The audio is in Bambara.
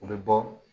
U bɛ bɔ